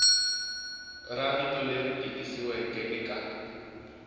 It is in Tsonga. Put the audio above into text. ra rito leri tikisiweke eka